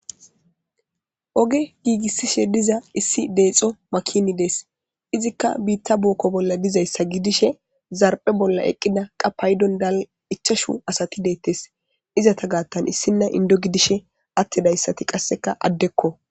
Oge giigissishe diza issi deexo makini dees izikka biitta buokko bolla dizayssa gidishe zarphe bolla eqqida qapaydon dal ichashu asati deettes izata gaattan issinna indo gidishe attedayssati qasseka addekko.